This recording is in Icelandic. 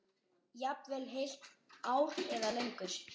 Jafnvel heilt ár eða lengur.